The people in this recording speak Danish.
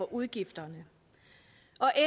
udgifterne